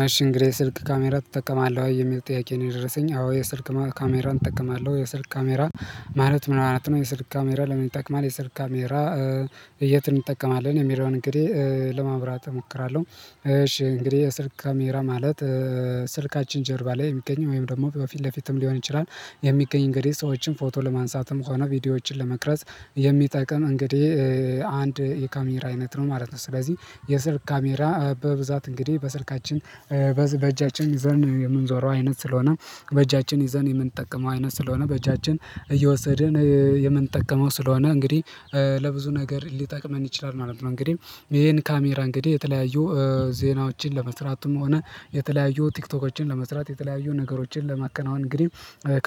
መሽን እንግዲህ ስልክ ካሜራ ትጠቀማለህ ወይ? የሚል ጥያቄ ነው? የደረሰኝ አዎ የስልክ ካሜራን እጠቀማለሁ የስልክ ካሜራ። ማለት ምን ማለት ነው? የስልክ ካሜራ ለምን ይጠቅማል የስልክ ካሜራ። የት እንጠቀማለን የሚለውን እንግዲህ ለማብራት እሞክራለሁ። እሺ እንግዲህ የስልክ ካሜራ ማለት ስልካችን ጀርባ ላይ የሚገኘው ወይም ደግሞ በፊት ለፊትም ሊሆን ይችላል የሚገኝ እንግዲህ ሰዎችን ፎቶ ለማንሳትም ከሆነ ቪዲዮዎችን ለመቅረጽ የሚጠቅም እንግዲህ አንድ የካሜራ አይነት ነው። ማለት ነው። ስለዚህ የስልክ ካሜራ በብዛት እንግዲህ በስልካችን በእጃችን ዘንድ የምንዞረው አይነት ስለሆነ በእጃችን ይዘን የምንጠቅመው አይነት ስለሆነ በእጃችን እየወሰድን የምንጠቀመው ስለሆነ እንግዲህ ለብዙ ነገር ሊጠቅመን ይችላል ማለት ነው። እንግዲህ ይሄን ካሜራ እንግዲህ የተለያዩ ዜናዎችን ለመስራትም ሆነ የተለያዩ ቲክቶኮችን ለመስራት የተለያዩ ነገሮችን ለማከናወን እንግዲህ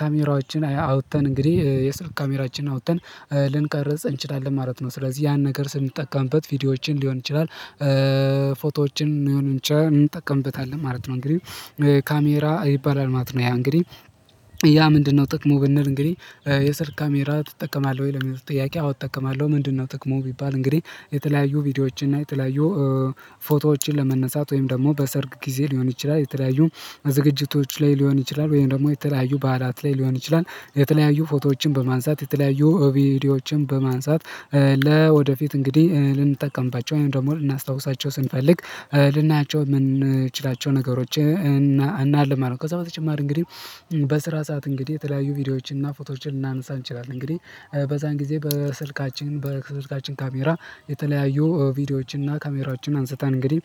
ካሜራዎችን አውጥተን እንግዲህ የስልክ ካሜራችንን አውጥተን ልንቀርጽ እንችላለን ማለት ነው። ስለዚህ ያን ነገር ስንጠቀምበት ቪዲዮዎችን ሊሆን ይችላል፤ ፎቶዎችን ሊሆን ይችላል እንጠቀምበታለን ማለት ነው። እንግዲህ ካሜራ ይባላል ማለት ነው። ያ እንግዲህ ያ ምንድነው? ጥቅሙ ብንል እንግዲህ የስልክ ካሜራ ትጠቀማለህ ወይ ለሚለው ጥያቄ አዎ እጠቀማለሁ። ምንድነው ጥቅሙ? ቢባል እንግዲህ የተለያዩ ቪዲዮዎችን እና የተለያዩ ፎቶዎችን ለመነሳት ወይም ደግሞ በሰርግ ጊዜ ሊሆን ይችላል የተለያዩ ዝግጅቶች ላይ ሊሆን ይችላል ወይም ደግሞ የተለያዩ ባህላት ላይ ሊሆን ይችላል የተለያዩ ፎቶዎችን በማንሳት የተለያዩ ቪዲዮዎችን በማንሳት ለወደፊት እንግዲህ ልንጠቀምባቸው ወይም ደግሞ ልናስታውሳቸው ስንፈልግ ልናያቸው የምንችላቸው ነገሮች እናልማለን ማለት ነው፤ ከዛ በተጨማሪ እንግዲህ በስራ ሰዓት እንግዲህ የተለያዩ ቪዲዮዎችን እና ፎቶችን ልናነሳ እንችላለን። እንግዲህ በዛን ጊዜ በስልካችን በስልካችን ካሜራ የተለያዩ ቪዲዮዎችን እና ካሜራዎችን አንስተን እንግዲህ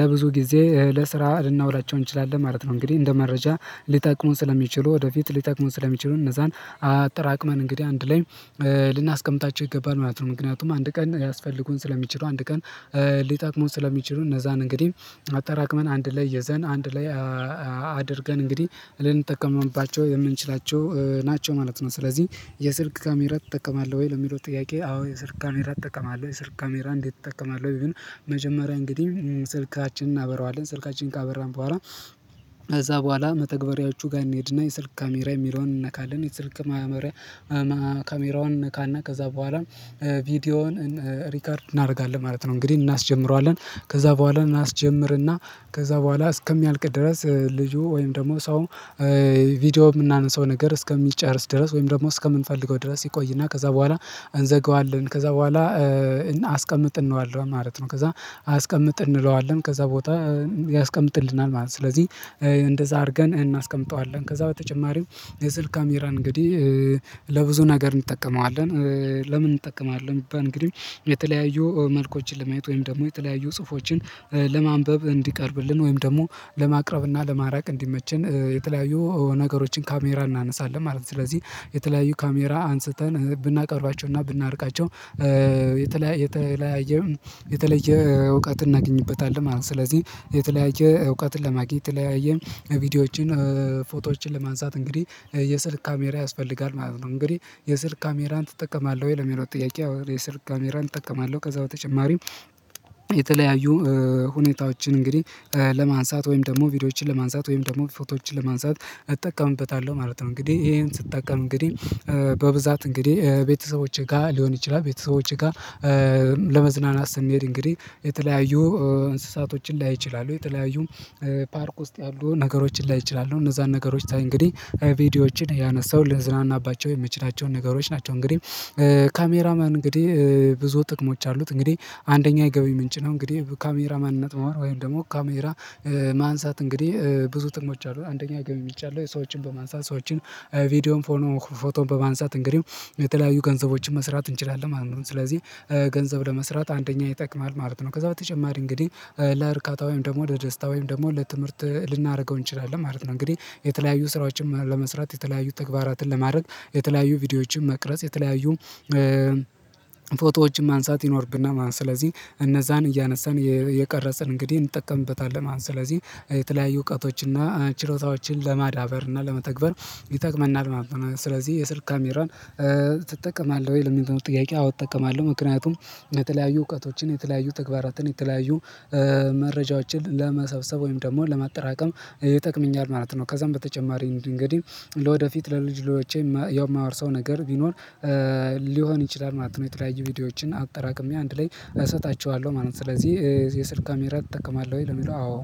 ለብዙ ጊዜ ለስራ ልናውላቸው እንችላለን ማለት ነው። እንግዲህ እንደ መረጃ ሊጠቅሙን ስለሚችሉ ወደፊት ሊጠቅሙን ስለሚችሉ እነዛን አጠራቅመን እንግዲህ አንድ ላይ ልናስቀምጣቸው ይገባል ማለት ነው፤ ምክንያቱም አንድ ቀን ያስፈልጉን ስለሚችሉ አንድ ቀን ሊጠቅሙን ስለሚችሉ እነዛን እንግዲህ አጠራቅመን አንድ ላይ ይዘን አንድ ላይ አድርገን እንግዲህ ልንጠቀምባቸው የምንችላቸው ናቸው ማለት ነው። ስለዚህ የስልክ ካሜራ ትጠቀማለህ? ወይ ለሚለው ጥያቄ አዎ የስልክ ካሜራ እጠቀማለሁ። የስልክ ካሜራ እንዴት? እጠቀማለሁ ይሄን መጀመሪያ እንግዲህ ስልካችንን እናበራዋለን ስልካችንን ካበራን በኋላ ከዛ በኋላ መተግበሪያዎቹ ጋር እንሄድና የስልክ ካሜራ የሚለውን እንነካለን የስልክ ካሜራ ካሜራውን እንነካ እና ከዛ በኋላም ቪዲዮውን ሪከርድ እናደርጋለን ማለት ነው። እንግዲህ እናስጀምረዋለን ከዛ በኋላ እናስጀምርና ከዛ በኋላ እስከሚያልቅ ድረስ ልጁ ወይም ደግሞ ሰው ቪዲዮ የምናነሳው ነገር እስከሚጨርስ ድረስ ወይም ደግሞ እስከምንፈልገው ድረስ ይቆይና ከዛ በኋላ እንዘገዋለን ከዛ በኋላ አስቀምጥ እንለዋለን ማለት ነው። ከዛ አስቀምጥ እንለዋለን ከዛ ቦታ ያስቀምጥልናል ማለት ነው። ስለዚህ እንደዛ አድርገን እናስቀምጠዋለን ከዛ በተጨማሪው የስልክ ካሜራን እንግዲህ ለብዙ ነገር እንጠቀመዋለን። ለምን እንጠቀማለን እንግዲህ የተለያዩ መልኮችን ለማየት ወይም ደግሞ የተለያዩ ጽሁፎችን ለማንበብ እንዲቀርብልን ወይም ደግሞ ለማቅረብና ለማራቅ እንዲመችን የተለያዩ ነገሮችን ካሜራ እናነሳለን ማለት ነው። ስለዚህ የተለያዩ ካሜራ አንስተን ብናቀርባቸውና ብናርቃቸው የተለያየ የተለያየ የተለየ እውቀት እናገኝበታለን ማለት ነው። ስለዚህ የተለያየ እውቀትን ለማግኘት የተለያየ ቪዲዮዎችን ፎቶዎችን ለማንሳት እንግዲህ የስልክ ካሜራ ያስፈልጋል ማለት ነው። እንግዲህ የስልክ ካሜራን ትጠቀማለህ? ወይ ለሚለው ጥያቄ የስልክ ካሜራን እጠቀማለሁ። ከዛ በተጨማሪም የተለያዩ ሁኔታዎችን እንግዲህ ለማንሳት ወይም ደግሞ ቪዲዮዎችን ለማንሳት ወይም ደግሞ ፎቶዎችን ለማንሳት እጠቀምበታለሁ ማለት ነው። እንግዲህ ይሄን ስጠቀም እንግዲህ በብዛት እንግዲህ ቤተሰቦቼ ጋር ሊሆን ይችላል ቤተሰቦቼ ጋር ለመዝናናት ስንሄድ እንግዲህ የተለያዩ እንስሳቶችን ላይ እችላለሁ የተለያዩ ፓርክ ውስጥ ያሉ ነገሮችን ላይ እችላለሁ እነዛን ነገሮች ሳይ እንግዲህ ቪዲዮዎችን ያነሳሁ ልንዝናናባው የምንችላቸው ነገሮች ናቸው። እንግዲህ ካሜራ ማን እንግዲህ ብዙ ጥቅሞች አሉት። እንግዲህ አንደኛ የገቢ ምንጭ ነው እንግዲህ ካሜራ ማንነት መሆን ወይም ደግሞ ካሜራ ማንሳት እንግዲህ ብዙ ጥቅሞች አሉት፤ አንደኛ ገቢ ምንጭ አለው። ሰዎችን በማንሳት ሰዎችን ቪዲዮን ፎቶን በማንሳት እንግዲህ የተለያዩ ገንዘቦችን መስራት እንችላለን ማለት ነው። ስለዚህ ገንዘብ ለመስራት አንደኛ ይጠቅማል ማለት ነው። ከዛ በተጨማሪ እንግዲህ ለእርካታ ወይም ደግሞ ለደስታ ወይም ደግሞ ለትምህርት ልናደርገው እንችላለን ማለት ነው። እንግዲህ የተለያዩ ስራዎችን ለመስራት የተለያዩ ተግባራትን ለማድረግ የተለያዩ ቪዲዮዎችን መቅረጽ የተለያዩ ፎቶዎችን ማንሳት ይኖርብናል ማለት ነው፤ ስለዚህ እነዛን እያነሳን እየቀረጽን እንግዲህ እንጠቀምበታለን ማለት ነው። ስለዚህ የተለያዩ እውቀቶችና ችሮታዎችን ለማዳበር እና ለመተግበር ይጠቅመናል ማለት ነው። ስለዚህ የስልክ ካሜራን ትጠቀማለህ? ወይ ለሚለው ጥያቄ አዎ እጠቀማለሁ። ምክንያቱም የተለያዩ እውቀቶችን የተለያዩ ተግባራትን የተለያዩ መረጃዎችን ለመሰብሰብ ወይም ደግሞ ለማጠራቀም ይጠቅምኛል ማለት ነው። ከዛም በተጨማሪ እንግዲህ ለወደፊት ለልጅ ልጆቼ የማወርሰው ነገር ቢኖር ሊሆን ይችላል ማለት ነው። የተለያየ ቪዲዮዎችን አጠራቅሜ አንድ ላይ እሰጣቸዋለሁ ማለት ነው። ስለዚህ የስልክ ካሜራ ትጠቀማለሁ ወይ? ለሚለው አዎ